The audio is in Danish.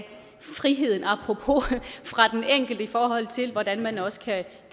friheden apropos fra den enkelte i forhold til hvordan man også kan